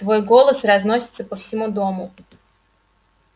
твой голос разносится по всему дому